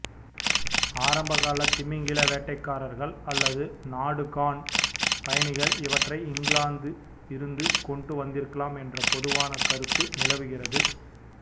ஆரம்பகால திமிங்கில வேட்டைக்காரர்கள் அல்லது நாடுகாண் பயணிகள் இவற்றை இங்கிலாந்தில் இருந்து கொண்டு வந்திருக்கலாம் என்ற பொதுவான கருத்து நிலவுகிறது